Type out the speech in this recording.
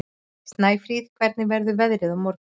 Snæfríð, hvernig verður veðrið á morgun?